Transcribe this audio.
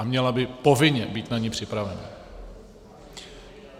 A měla by povinně být na ni připravena.